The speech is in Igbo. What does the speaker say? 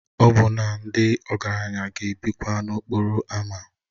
Ọbụna ndị ọgaranya ga-ebikwa n'okporo ámá